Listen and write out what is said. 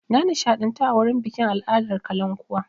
Na nishaɗantu a wurin bikin al'adar kalankuwa.